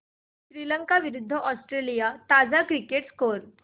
श्रीलंका विरूद्ध ऑस्ट्रेलिया ताजा cricket score